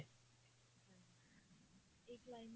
ਇਹ climate